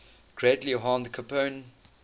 greatly harmed capone